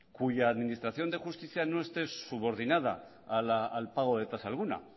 cuya administración de justicia no esté subordinada al pago de tasa alguna